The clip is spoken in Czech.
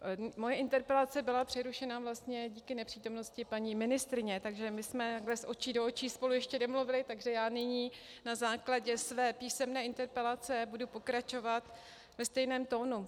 Moje interpelace byla přerušena vlastně díky nepřítomnosti paní ministryně, takže my jsme takto z očí do očí spolu ještě nemluvily, takže já nyní na základě své písemné interpelace budu pokračovat ve stejném tónu.